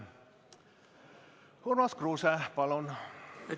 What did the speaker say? Urmas Kruuse, palun!